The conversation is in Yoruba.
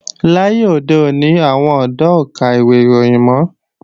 Láyé òde òní, àwọn ọ̀dọ́ ò ka ìwé ìròyìn mọ́